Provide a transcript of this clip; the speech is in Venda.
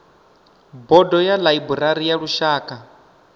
bodo ya ḽaiburari ya lushaka